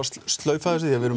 slaufa þessu við erum